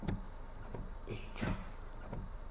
и что